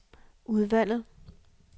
udvalget